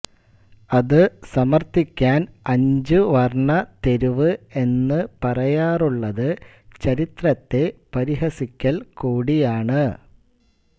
അത് സമർഥിക്കാൻ അഞ്ചു വർണ്ണ തെരുവ് എന്ന് പറയാറുള്ളത് ചരിത്രത്തെ പരിഹസിക്കൽ കൂടിയാണ്